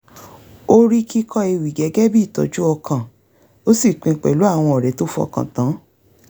ó rí kíkọ ewì gẹ́gẹ́ bí ìtọ́jú ọkàn ó sì pín in pẹ̀lú àwọn ọ̀rẹ́ tó fọkàn tán